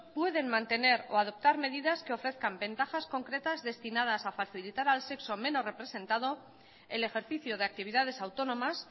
pueden mantener o adoptar medidas que ofrezcan ventajas concretas destinadas a facilitar al sexo menos representado el ejercicio de actividades autónomas